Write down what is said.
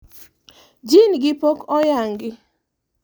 jin gi pok oyangi